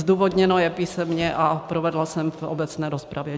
Zdůvodněno je písemně a provedla jsem v obecné rozpravě.